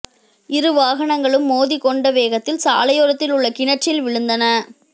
இரு வாகனங்களும் மோதிக் கொண்ட வேகத்தில் சாலையோரத்தில் உள்ள கிணற்றில் விழுந்தன